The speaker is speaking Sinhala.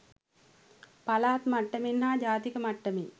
පළාත් මට්ටමෙන් හා ජාතික මට්ටමෙන්